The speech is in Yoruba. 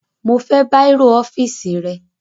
Mo fẹ́ bàírò ọ́fíìsì rẹ